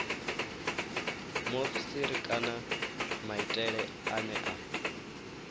muofisiri kana maitele ane a